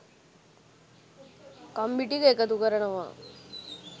කම්බි ටික එකතු කරනවා